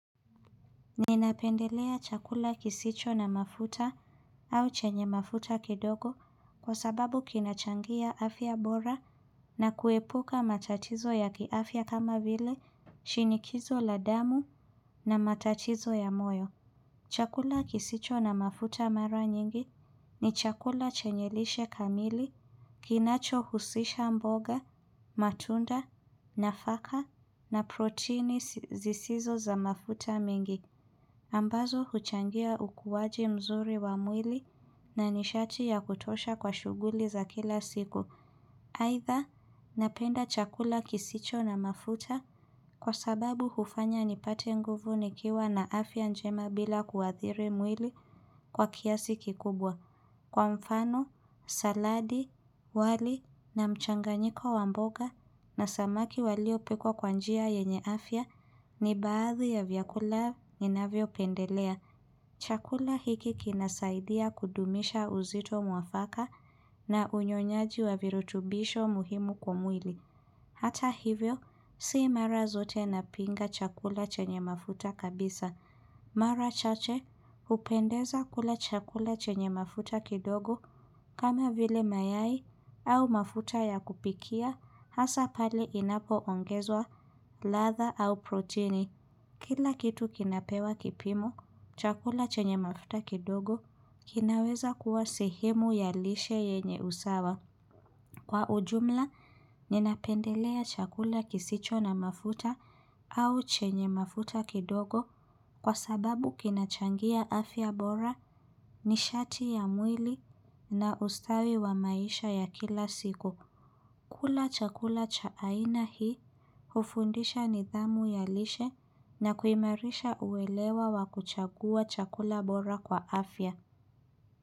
Ninapendelea chakula kisicho na mafuta au chenye mafuta kidogo kwa sababu kinachangia afya bora na kuepuka matatizo ya kiafya kama vile shinikizo la damu na matatizo ya moyo. Chakula kisicho na mafuta mara nyingi ni chakula chenye lishe kamili, kinachohusisha mboga, matunda, nafaka na protini zisizo za mafuta mingi. Ambazo huchangia ukuaji mzuri wa mwili na nishati ya kutosha kwa shughuli za kila siku. Aidha, napenda chakula kisicho na mafuta kwa sababu hufanya nipate nguvu nikiwa na afya njema bila kuathiri mwili kwa kiasi kikubwa. Mchanganyiko wa mboga na samaki waliopikwa kwa njia yenye afya ni baadhi ya vyakula ninavyopendelea. Chakula hiki kinasaidia kudumisha uzito mwafaka na unyonyaji wa virutubisho muhimu kwa mwili Hata hivyo, si mara zote napinga chakula chenye mafuta kabisa. Mara chache, hupendeza kula chakula chenye mafuta kidogo kama vile mayai au mafuta ya kupikia hasa pali inapoongezwa ladha au protini. Kila kitu kinapewa kipimo, chakula chenye mafuta kidogo, kinaweza kuwa sehemu ya lishe yenye usawa. Kwa ujumla, ninapendelea chakula kisicho na mafuta au chenye mafuta kidogo kwa sababu kinachangia afya bora nishati ya mwili na ustawi wa maisha ya kila siku. Kula chakula cha aina hii hufundisha nidhamu ya lishe na kuimarisha uelewa wa kuchagua chakula bora kwa afya.